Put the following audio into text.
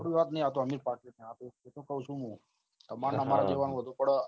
આપડી વાત ની અમીર party ની વાત એ તો કહું છું ને તમારા અને અમારા જેવા